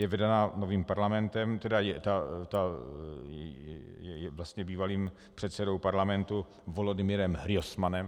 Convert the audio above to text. Je vedena novým parlamentem, vlastně bývalým předsedou parlamentu Volodymyrem Hrojsmanem.